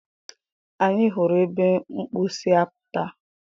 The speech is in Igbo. Anyị hụrụ ebe mkpu si apụta.